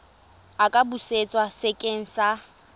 a ka busetswa sekeng sa